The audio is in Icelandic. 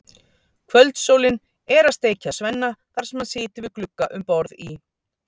Kvöldsólin er að steikja Svenna þar sem hann situr við glugga um borð í